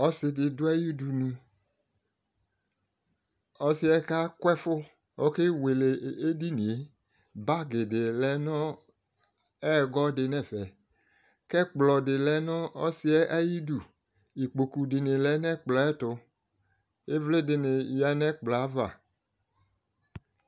Ɔsɩdɩ dʋ ayʋ ʋdʋnʋ ɔsɩɛ kakʋ ɛfʋ okewele edɩnɩe bagi dɩ lɛ nʋ ɛgɔ dɩ nɛfɛkɛkplɔ dɩ lɛ nʋ ɔsɩɛ ayɩdʋ ɩkpokʋ dɩnɩ lɛ nʋ ɛkplɔ yɛ tʋ ɩvlɩ dɩnɩ yanʋ ɛkplɔ yɛ ava